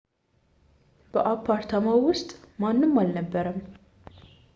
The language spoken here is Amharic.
በአፓርታማው ውስጥ ማንም አልነበረም